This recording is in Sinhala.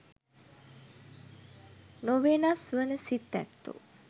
නොවෙනස් වන සිත් ඇත්තෝ